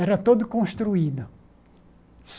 Era todo construído.